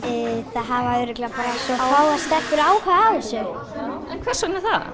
það hafa örugglega bara svo fáar stelpur áhuga á þessu en hvers vegna er það